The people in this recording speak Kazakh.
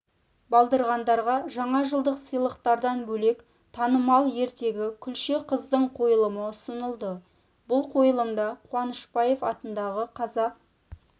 балдырғандарға жаңажылдық сыйлықтардан бөлек танымал ертегі күлше қыздың қойылымы ұсынылды бұл қойылымда қуанышбаев атындағы қазақ